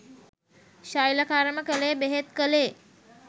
ශල්‍යකර්ම කළේ බෙහෙත් කළේ